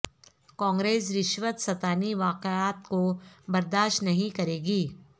کانگریس رشوت ستانی واقعات کو برداشت نہیں کرے گی